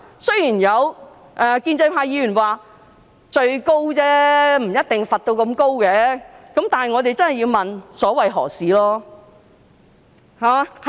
雖然有建制派議員說這只是最高罰則，不一定被罰到最高程度。但是，我們真的要問所為何事？